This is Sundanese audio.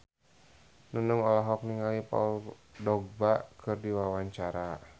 Nunung olohok ningali Paul Dogba keur diwawancara